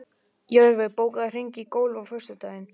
Jörfi, bókaðu hring í golf á föstudaginn.